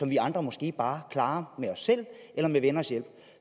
vi andre måske bare klarer selv eller med venners hjælp